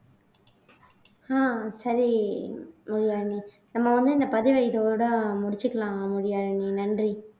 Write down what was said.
ஆஹ் சரி மொழியாழினி நம்ம வந்து இந்த பதிவை இதோட முடிச்சுக்கலாம் மொழியாழினி நன்றி